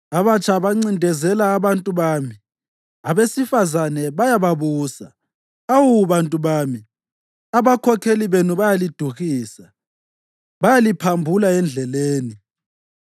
Abatsha bancindezela abantu bami, abesifazane bayababusa. Awu, bantu bami, abakhokheli benu bayaliduhisa; bayaliphambula endleleni.